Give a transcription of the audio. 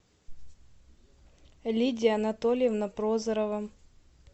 лидия анатольевна прозорова